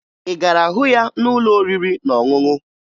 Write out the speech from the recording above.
Ị gara hụ ya n'ụlọ oriri na ọṅụṅụ?